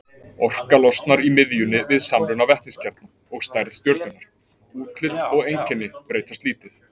Orka losnar í miðjunni við samruna vetniskjarna, og stærð stjörnunnar, útlit og einkenni breytast lítið.